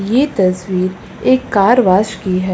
ये तस्वीर एक कार वोश की है।